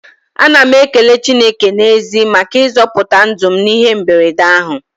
Ana m ekele Chineke n'ezie maka ịzọpụta ndụ m n'ihe mberede ahụ.